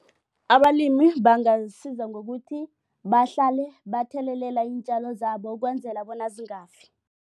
Abalimi bangasiza ngokuthi bahlale bathelelela iintjalo zabo ukwenzela bona zingafiki.